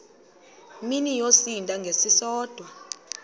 mini yosinda ngesisodwa